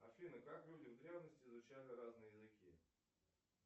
афина как люди в древности изучали разные языки